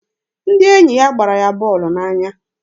Ndị enyi ya gbara ya bọọlụ n'anya.